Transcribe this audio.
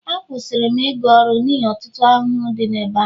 Akwụsịrị m ịga ọrụ n'ihi ọtụtụ ahụhụ dị n'ebe ahụ